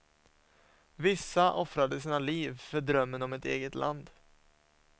Vissa offrade sina liv för drömmen om ett eget land.